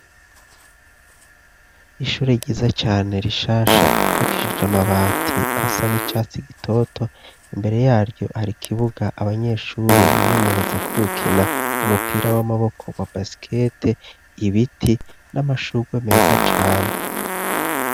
Ishure ryiza cane rishasha ipakishije amabati asa n'icatsi gitoto imbere yaryo hari ikibuga abanyeshure bimenyereza ko gukina umupira w'amaboko wa basikete ibiti n'amashurwe meza cane.